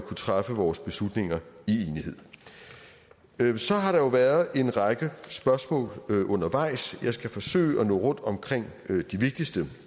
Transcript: træffe vores beslutninger i enighed så har der jo været en række spørgsmål undervejs jeg skal forsøge at nå rundt omkring de vigtigste